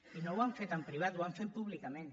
i no ho han fet en privat ho han fet públicament